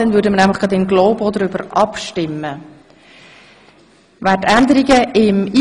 Dann werden wir in globo darüber abstimmen, es betrifft die neuen Artikel 137a–g.